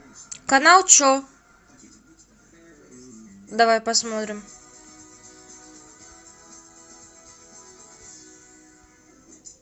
канал че давай посмотрим